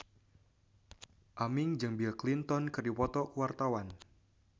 Aming jeung Bill Clinton keur dipoto ku wartawan